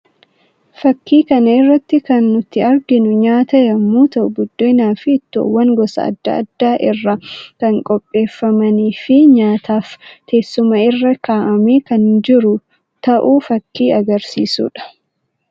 Fakkii kana irraa kan nutti arginu nyaata yammuu ta'uu ; buddeenaa fi ittoowwan gosa addaa addaa irraa kan qopheeffamanii fi nyaataaf teessuma irra ka'amee kan jiru ta'uu fakkii agarsiisuu dha.